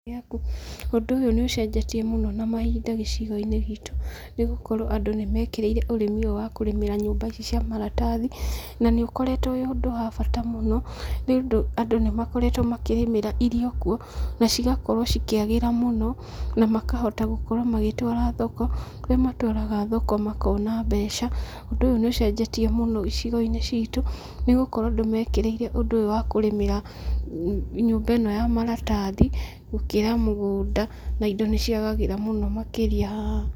Ũndũ ũyũ nĩ ũcenjetie mũno na mahinda gĩcigo-inĩ gitũ. Nĩ gũkorwo andũ nĩ mekĩrĩire ũrĩmi ũyũ wa kũrĩmĩra nyũmba ici cia maratathi,. Na nĩ ũkoretwo wĩ ũndũ wa bata mũno, nĩ ũndũ andũ nĩ makoretwo makĩrĩmĩra irio kuo, na cigakorwo cikĩagĩra mũno, na makahota gũkorwo magĩtwara thoko, kũrĩa matwaraga thoko makona mbeca. Ũndũ ũyũ nĩ ũcenjetie mũno icigo-inĩ ciitũ, nĩ gũkorwo andũ mekĩrĩire ũndũ ũyũ wa kũrĩmĩra nyũmba ĩno ya maratathi, gũkĩra mũgũnda na indo nĩ ciagagĩra mũno makĩria haha.